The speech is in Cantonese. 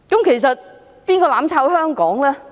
其實，是誰"攬炒"香港呢？